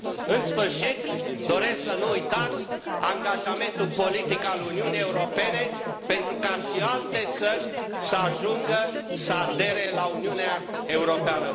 În sfârșit, doresc să nu uitați angajamentul politic al Uniunii Europene pentru ca și alte țări să ajungă să adere la Uniunea Europeană.